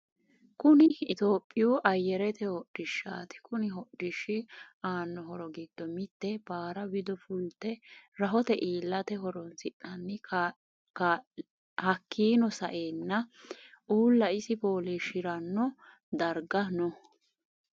Kunni ittoyoopiyu ayyerete hodhishshati kunni hodhishshi aano horro giddo mitte baara wido fulate rahote iilate horonisinanni hakiino sa'eena uula isi foolishshiranobdarigga no.